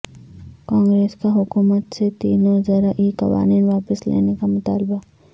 کانگریس کا حکومت سے تینوں زرعی قوانین واپس لینے کا مطالبہ